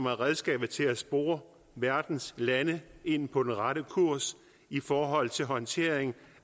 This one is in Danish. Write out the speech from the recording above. er redskabet til at spore verdens lande ind på den rette kurs i forhold til håndteringen